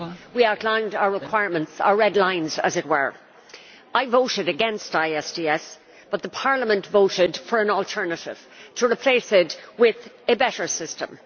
We outlined our requirements our red lines, as it were. I voted against ISDS, but the Parliament voted for an alternative to replace it with a better system.